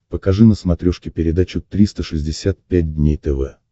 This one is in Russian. покажи на смотрешке передачу триста шестьдесят пять дней тв